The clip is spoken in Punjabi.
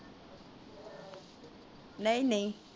ਨਹੀਂ ਨਹੀਂ।